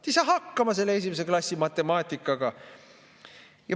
Te ei saa hakkama selle esimese klassi matemaatikaga!